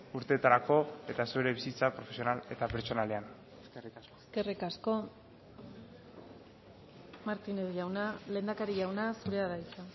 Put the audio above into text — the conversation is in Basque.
urteetarako eta zure bizitza profesional eta pertsonalean eskerrik asko eskerrik asko martínez jauna lehendakari jauna zurea da hitza